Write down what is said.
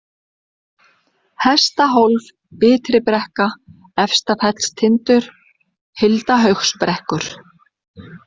Hestahólf, Ytribrekka, Efstafellstindur, Hildahaugsbrekkur